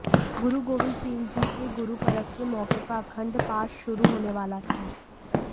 गुरु गोविंद सिंह जी के गुरुपरब के मौके पर अखंड पाठ शुरू होने वाला था